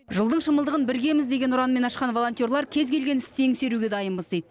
жылдың шымылдығын біргеміз деген ұранмен ашқан волонтерлар кез келген істі еңсеруге дайынбыз дейді